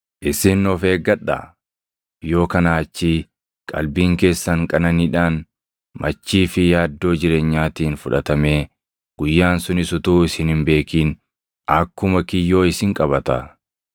“Isin of eeggadhaa; yoo kanaa achii qalbiin keessan qananiidhaan, machii fi yaaddoo jireenyaatiin fudhatamee guyyaan sunis utuu isin hin beekin akkuma kiyyoo isin qabata.